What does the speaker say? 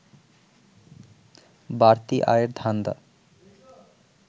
বাড়তি আয়ের ধান্দা